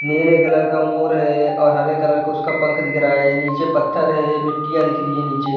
नीले कलर का मोर है और हरे कलर का उसका पंख दिख रहा है। नीचे पत्थर है मिट्टियां दिख रही है नीचे।